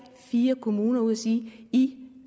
fire kommuner ud og sige i